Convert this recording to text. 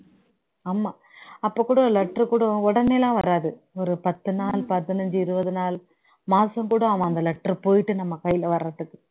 ஆமா அப்போ கூட letter கூட உடனேலாம் வராது ஒரு பத்து நாள் பதன் ஐந்து இருபது நாள் மாசம் கூட ஆகும் அந்த letter போயிட்டு நம்ம கையில் வரதுக்கு